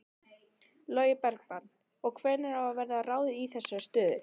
Logi Bergmann: Og hvenær verður ráðið í þessar stöður?